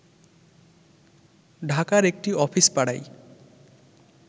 ঢাকার একটি অফিস পাড়ায়